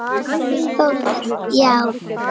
Þórður: Já?